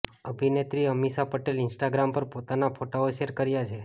અભિનેત્રી અમીષા પટેલે ઇન્સ્ટાગ્રામ પર પોતાના ફોટાઓ શેર કર્યા છે